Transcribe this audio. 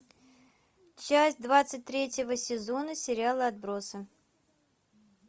часть двадцать третьего сезона сериала отбросы